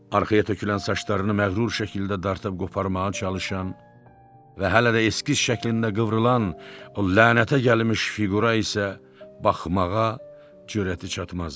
Arxaya tökülən saçlarını məğrur şəkildə dartıb qoparmağa çalışan və hələ də eskiz şəklində qıvrılan o lənətə gəlmiş fiqura isə baxmağa cürəti çatmazdı.